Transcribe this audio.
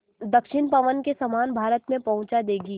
दक्षिण पवन के समान भारत में पहुँचा देंगी